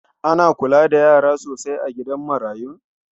Ana kula da yara sosai a gidan marayun?